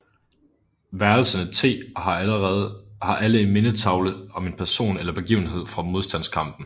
Værelserne t har alle en mindetavle om en person eller begivenhed fra modstandskampen